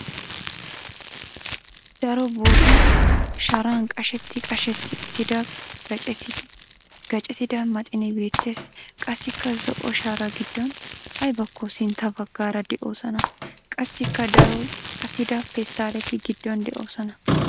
Daro bootta sharan qashetti qashetti uttida gaacettida maxinee beettes. Qassikka zo"o sharaa giddon aybakko sintta baggaara de'oosona. Qassikka daro qitattida pesttaalleti giddon de'oosona.